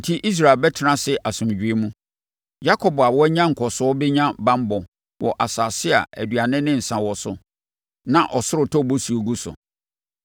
Enti, Israel bɛtena ase asomdwoeɛ mu; Yakob a wanya nkɔsoɔ bɛnya banbɔ wɔ asase a aduane ne nsã wɔ so, na ɔsoro tɔ bosuo gu so.